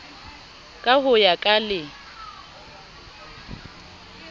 ka ho ya ka le